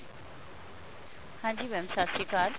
ਹਾਂਜੀ mam ਸਤਿ ਸ਼੍ਰੀ ਅਕਾਲ